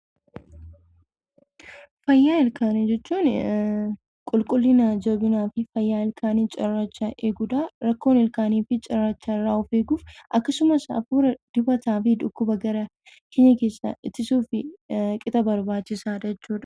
Fayyaa ilkaanii jechuunii qulqullina, jabinaa fi fayyaa ilkaanii cirrachaa eeguudha. Rakkoon ilkaanii fi cirrachaa irraa of eeguuf akkasumas afuura dibataa fi dhukkuba gara ittisuuf qixa barbachisaadha jechuudha.